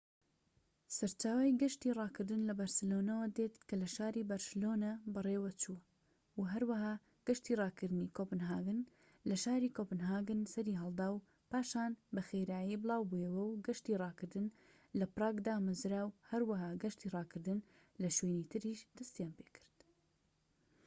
سەرچاوەی گەشتی ڕاکردن لە بەرسلۆنەوە دێت کە لە شاری بەرشلۆنە بەڕێوەچوو و هەروەها گەشتی ڕاکردنی کۆپنهاگن لە شاری کۆپنهاگن سەریهەڵدا و پاشان بەخءرایی بڵاوبوویەوە و گەشتی ڕاکردن لە پراگ دامەزراو و هەروەها گەشتی ڕاکردن لە شوێنی تریش دەستیان پێکرد